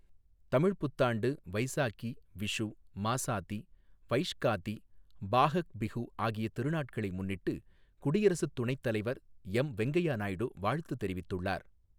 தமிழ்ப் புத்தாண்டு, வைசாகி, விஷு, மாசாதி, வைஷ்காதி, பாஹக் பிஹு ஆகிய திருநாட்களை முன்னிட்டு குடியரசுத் துணைத் தலைவர் எம் வெங்கய்யா நாயுடு வாழ்த்து தெரிவித்துள்ளார்.